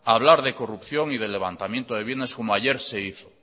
hablar de corrupción y de levantamiento de bienes como ayer se hizo